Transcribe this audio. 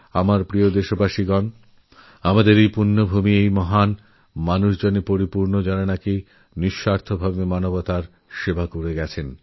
আমার প্রিয়দেশবাসী আমাদের পূণ্যভূমি এই ভারতবর্ষ এমন সব মহামানবের আবির্ভাবে সুরভিত যাঁরাসারা জীবন নিঃস্বার্থভাবে মানবতার সেবাই করে গেছেন